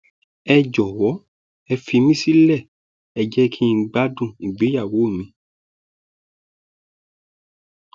ẹ jọwọ ẹ fi mí sílẹ ẹ jẹ kí n gbádùn ìgbéyàwó mi